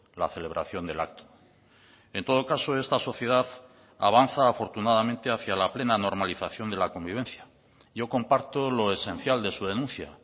la celebración del acto en todo caso esta sociedad avanza afortunadamente hacia la plena normalización de la convivencia yo comparto lo esencial de su denuncia